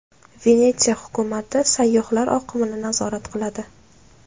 Venetsiya hukumati sayyohlar oqimini nazorat qiladi.